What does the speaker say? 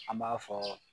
An b'a fɔ